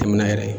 Tɛmɛnen yɛrɛ